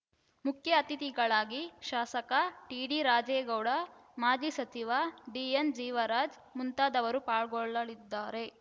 ಮುಖ್ಯ ಅತಿಥಿಗಳಾಗಿ ಶಾಸಕ ಟಿಡಿ ರಾಜೇಗೌಡ ಮಾಜಿ ಸಚಿವ ಡಿಎನ್‌ ಜೀವರಾಜ್‌ ಮುಂತಾದವರು ಪಾಲ್ಗೊಳ್ಳಲಿದ್ದಾರೆ